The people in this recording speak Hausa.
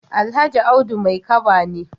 Alhaji Audu Maikaba ne.